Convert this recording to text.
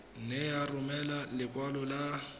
nne ya romela lekwalo la